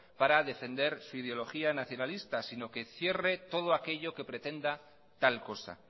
para defender su ideología nacionalista sino que cierre todo aquello que pretenda tal cosa